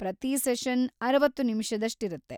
ಪ್ರತೀ ಸೆಷನ್‌ ಅರವತ್ತು ನಿಮಿಷದಷ್ಟಿರತ್ತೆ.